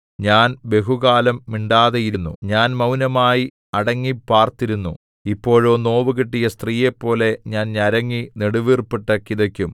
ഞാൻ ബഹുകാലം മിണ്ടാതെയിരുന്നു ഞാൻ മൗനമായി അടങ്ങിപ്പാർത്തിരുന്നു ഇപ്പോഴോ നോവുകിട്ടിയ സ്ത്രീയെപ്പോലെ ഞാൻ ഞരങ്ങി നെടുവീർപ്പിട്ടു കിതയ്ക്കും